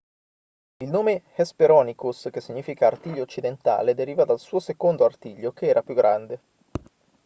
il nome hesperonychus che significa artiglio occidentale deriva dal suo secondo artiglio che era più grande